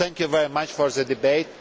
Thank you very much for this debate.